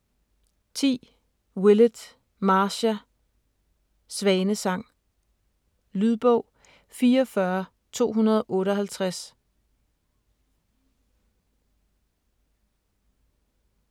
10. Willett, Marcia: Svanesang Lydbog 44258